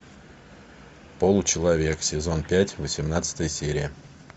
получеловек сезон пять восемнадцатая серия